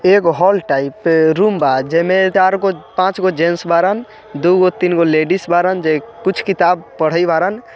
एक hall type room बा जेमें चारगो पाँचगो जेंट्स बारन दूगो तीनगो लेडीज बारन कुछ किताब पढ़ए बारन।